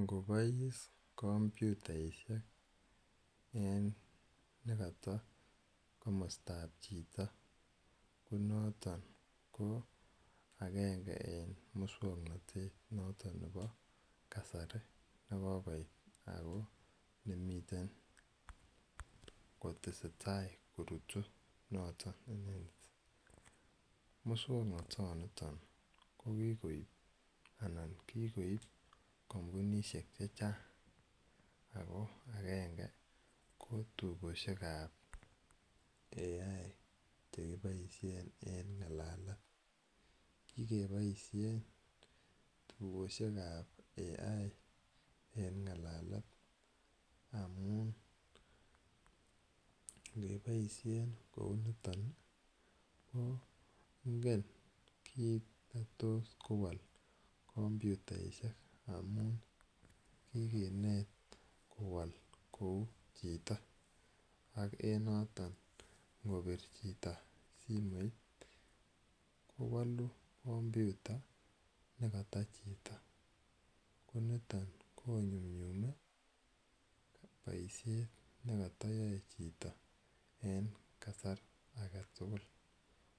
Ngo pais kompyutaishek en ne kata komsta ap chito ko noton ko agenge eng' muswoknotet noton nepo kasari ne kokoit ako ne miten kotese tai korutun noton. Muswoknotoniton ko kikoiip anan kikoip kampunishek che chang' agenge kontukoshek ap AI che kipaishen en ng'alalet. Kikepaishen tukoshek ap AI en ng'alalet amun ngepaishen kou niton ko ingen kiit ne tos kowal kompyutaishek amun kikinet kowal kou chito. Ak en noton ngopir chito simoit kowalu kompyuta ne kata chito. Ko niton ko nyumnyumi poishet ne katayae chito en kasar age tugul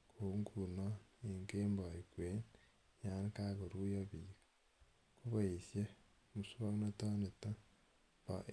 kou nguno eng' kembaut kwen yan kakoruyo piik ako kaesha muswoknotan pa AI.